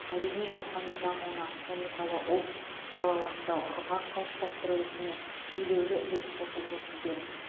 мәдени рухани дамуына салиқалы ұлт салауатты ұрпақ қалыптастыру ісіне елеулі үлес қосып жүрсіздер